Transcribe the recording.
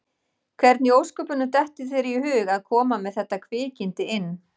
Hvernig í ósköpunum dettur þér í hug að koma með þetta kvikindi inn?